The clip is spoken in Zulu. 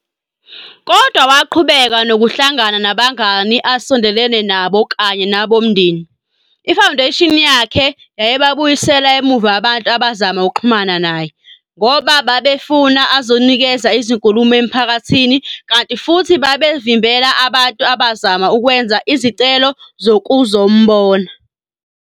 Kodwa waqhubeka nokuhlangana nabangani asondelene nabo kanye nabomndeni, iFoundation yakhe, yayibabuyisela emuva abantu abazama ukuxhumana naye, ngoba befuna azonikeza izinkulumo emiphakathini kanti futhi babevimbela abantu abazama ukwenza izicelo zokuzombona.